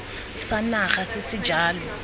sa naga se se jalo